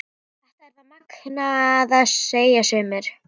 Þetta er það magnaða, segja sumir.